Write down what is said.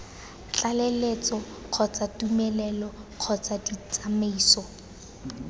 tlaleletso kgotsa tumelelo kgotsa ditsamaiso